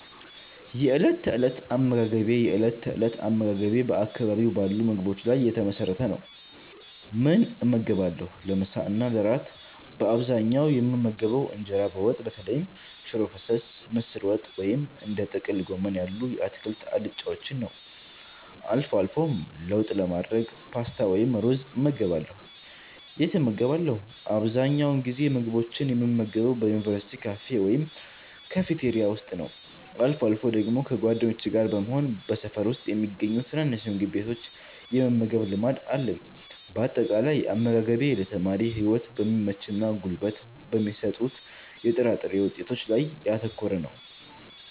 የእለት ተእለት አመጋገቤ የእለት ተእለት አመጋገቤ በአካባቢው ባሉ ምግቦች ላይ የተመሰረተ ነው፦ ምን እመገባለሁ? ለምሳ እና ለእራት በአብዛኛው የምመገበው እንጀራ በወጥ (በተለይም ሽሮ ፈሰስ፣ ምስር ወጥ ወይም እንደ ጥቅል ጎመን ያሉ የአትክልት አልጫዎችን) ነው። አልፎ አልፎም ለውጥ ለማድረግ ፓስታ ወይም ሩዝ እመገባለሁ። የት እመገባለሁ? አብዛኛውን ጊዜ ምግቦችን የምመገበው በዩኒቨርሲቲ ካፌ ወይም ካፍቴሪያ ውስጥ ነው። አልፎ አልፎ ደግሞ ከጓደኞቼ ጋር በመሆን በሰፈር ውስጥ በሚገኙ ትናንሽ ምግብ ቤቶች የመመገብ ልማድ አለኝ። ባጠቃላይ፦ አመጋገቤ ለተማሪነት ህይወት በሚመችና ጉልበት በሚሰጡ የጥራጥሬ ውጤቶች ላይ ያተኮረ ነው።